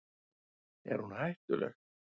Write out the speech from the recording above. Er hún hættuleg?